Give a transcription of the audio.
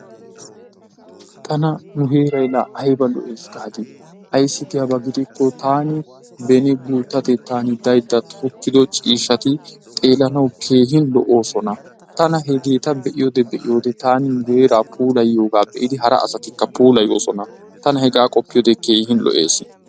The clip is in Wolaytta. Tana nu heeray la ayba lo'ees gadi. Ayssi giyaba gidikko tani beni gutatetan dayda tokkido ciishshati xeelanawu gigi lo'osona. Tana hegeetta beiyode beiyode tani heeraa puulaayiyoga bei hara asatikka puulaayosona. Tana hegaa qoppiyode keehin lo'ees.